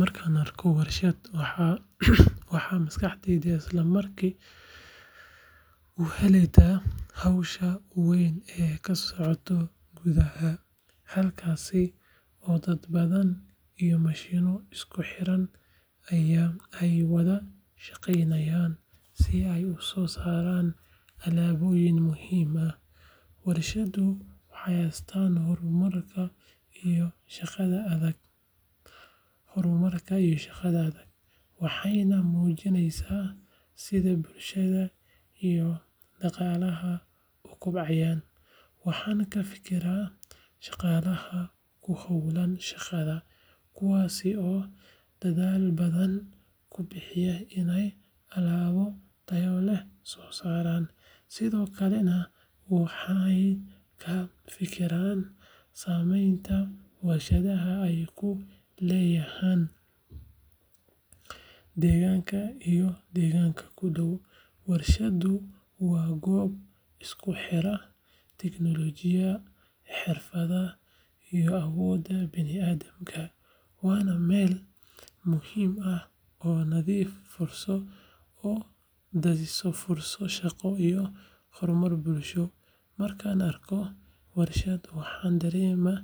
Markaan arko warshad, waxay maskaxdaydu isla markiiba u leexataa hawsha weyn ee ka socota gudaha, halkaas oo dad badan iyo mashiinno isku xiran ay wada shaqaynayaan si ay u soo saaraan alaabooyin muhiim ah. Warshaddu waa astaanta horumarka iyo shaqada adag, waxayna muujinaysaa sida bulshada iyo dhaqaalaha u kobcayaan. Waxaan ka fikiraa shaqaalaha ku howlan shaqada, kuwaas oo dadaal badan ku bixiya inay alaab tayo leh soo saaraan, sidoo kalena waxaan ka fekeraa saamaynta warshadda ay ku leedahay deegaanka iyo deegaanka ku dhow. Warshaddu waa goob isku xidha tiknoolajiyadda, xirfadda, iyo awoodda bini'aadamka, waana meel muhiim ah oo dhalisa fursado shaqo iyo horumar bulsho. Markaan arko warshad, waxaan dareemaa